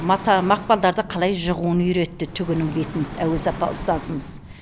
мата мақпалдарды қалай жығуын үйретті түгінің бетін әуес апа ұстазымыз